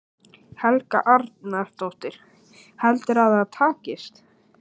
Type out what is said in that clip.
Helga Arnardóttir: Heldurðu að það takist?